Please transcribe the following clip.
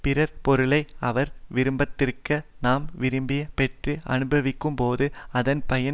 பிறர் பொருளை அவர் விரும்பாதிருக்க நாம் விரும்பி பெற்று அனுபவிக்கும்போது அதன் பயன்